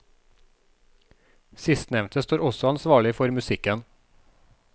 Sistnevnte står også ansvarlig for musikken.